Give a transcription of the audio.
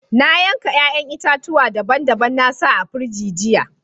Na yanka yayan itatuwa daban-daban na sa a firiji jiya.